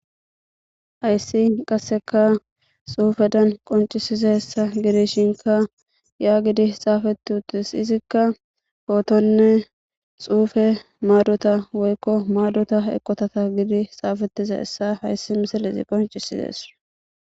Hayissi qasika xufezan qonc,isizayisa gidishin yagidi xafetis izika fotonne xufe madota eqota getetizi xafetizayissa hayissi misilezi qonc,ises